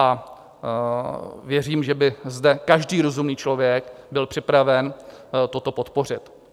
A věřím, že by zde každý rozumný člověk byl připraven toto podpořit.